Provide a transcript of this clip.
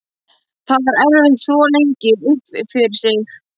Það var erfitt að þvo lengi upp fyrir sig.